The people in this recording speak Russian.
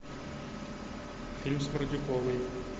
фильм с мордюковой